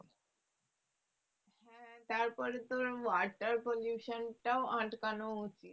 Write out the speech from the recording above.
হ্যাঁ তারপরে তোর water pollution টাও আটকানো উচিৎ